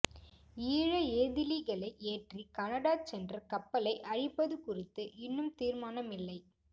ஈழ ஏதிலிகளை ஏற்றி கனடா சென்ற கப்பலை அழிப்பது குறித்து இன்னும் தீர்மானமில்லை